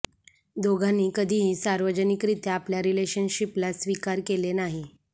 दोघांनी कधीही सार्वजनिकरीत्या आपल्या रिलेशनशिपला स्वीकार केले नाही